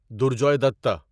درجوے دتہ